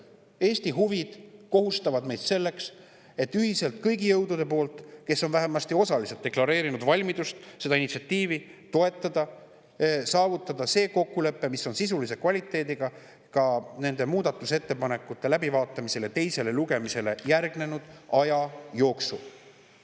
Eesti huvid kohustavad meid selleks, et ühiselt kõigi jõududega, kes on vähemasti osaliselt deklareerinud valmidust seda initsiatiivi toetada, saavutada kokkulepe, mis on sisulise kvaliteediga, seda ka muudatusettepanekute läbivaatamisele ja teisele lugemisele järgneva aja jooksul.